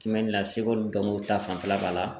Kimɛli la seko ni dɔnko ta fanfɛla b'a la